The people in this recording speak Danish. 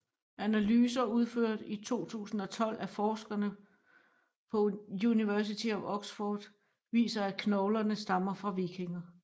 Analyser udført i 2012 af forskere på University of Oxford viser at knoglerne stammer fra vikinger